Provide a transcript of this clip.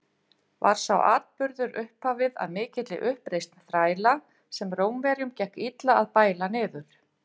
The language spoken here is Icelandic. Var sá atburður upphafið að mikilli uppreisn þræla, sem Rómverjum gekk illa að bæla niður.